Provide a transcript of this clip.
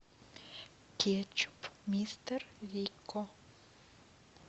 кетчуп мистер рикко